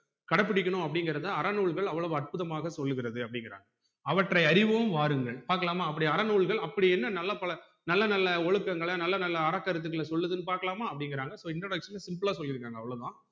கடைபுடிக்கணும் அப்டிங்குறத அறநூல்கள் அவ்வுளவு அற்புதமாக சொல்லுகிறது அப்டிங்குராங்க அவற்றை அறிவோம் வாருங்கள் பாக்கலாமா அப்படி அறநூல்கள் அப்படி என்ன நல்ல பழக்க நல்ல நல்ல ஒழுக்கங்கள நல்ல நல்ல அரக்கருத்துகள சொல்லுதுனு பாக்கலாம அப்டிங்குறாங்க so introduction ல simple அ சொல்லிருக்காங்க அவ்ளோதான்